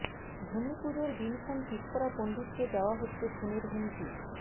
ভূমিপুজোর দিনক্ষণ ঠিক করা পন্ডিতকে দেওয়া হচ্ছে খুনের হুমকি